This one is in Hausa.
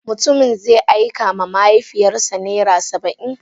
Mutumin zai aika ma mahaifiyar sa naira Saba'in.